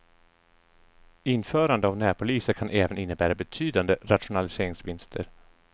Införande av närpoliser kan även innebära betydande rationaliseringsvinster.